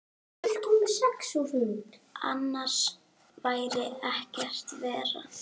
Annars væri ekkert verra.